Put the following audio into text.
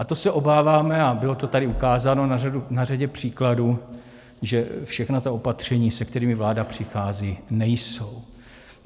A to se obáváme, a bylo to tady ukázáno na řadě příkladů, že všechna ta opatření, se kterými vláda přichází, nejsou.